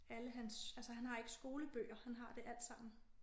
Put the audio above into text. Alle hans altså han har ikke skolebøger han har det alt sammen